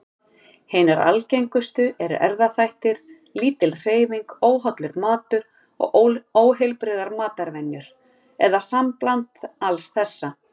Hinar algengustu eru erfðaþættir, lítil hreyfing, óhollur matur og óheilbrigðar matarvenjur, eða sambland alls þessa.